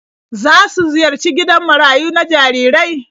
Za su ziyarci gidan marayu na jarirai?